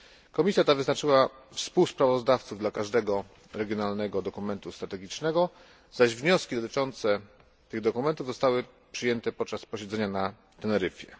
Komisja ta wyznaczyła współsprawozdawców dla każdego regionalnego dokumentu strategicznego, zaś wnioski dotyczące tych dokumentów zostały przyjęte podczas posiedzenia na Teneryfie.